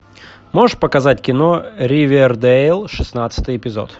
можешь показать кино ривердейл шестнадцатый эпизод